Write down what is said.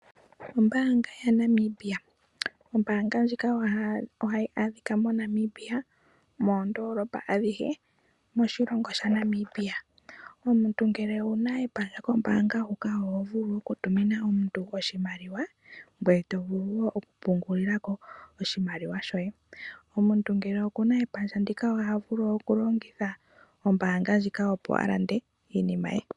Ombaanga yaVenduka Ombaanga ndjika ohayi adhika moNamibia moondoolopa adhihe moshilongo shaNamibia. Omuntu ngele owu na epandja kombaanga huka oho vulu okutumina omuntu oshimaliwa ngoye to vulu wo okupungulila ko oshimaliwa shoye. Omuntu ngele oku na epandja ndika oha vulu okulongitha ombaanga ndjika, opo a lande iinima ye.